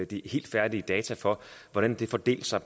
de helt færdige data for hvordan det fordelte sig